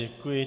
Děkuji.